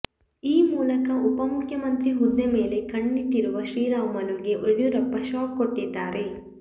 ಈ ಮೂಲಕ ಉಪಮುಖ್ಯಮಂತ್ರಿ ಹುದ್ದೆ ಮೇಲೆ ಕಣ್ಣಿಟ್ಟಿರುವ ಶ್ರೀರಾಮುಲುಗೆ ಯಡಿಯೂರಪ್ಪ ಶಾಕ್ ಕೊಟ್ಟಿದ್ದಾರೆ